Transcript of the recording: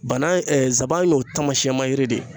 Bana nsaban y'o taamasiyɛnmayiri de ye.